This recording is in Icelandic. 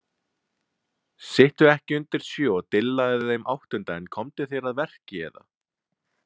Sittu ekki undir sjö og dillaðu þeim áttunda en komdu þér að verki eða: